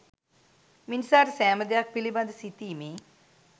මිනිසාට සෑම දෙයක් පිළිබඳ සිතීමේ